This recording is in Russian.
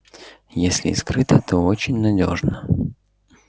если и скрыто то очень надёежно